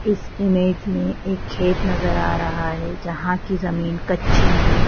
इस इमेज में एक खेत नजर आ रहा है जहाँ की जमीन कच्ची है।